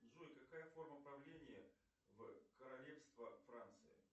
джой какая форма правления в королевство франции